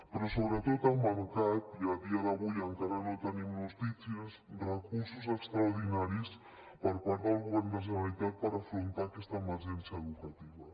però sobretot ha mancat i a dia d’avui encara no tenim notícies recursos extraordinaris per part del govern de la generalitat per afrontar aquesta emergència educativa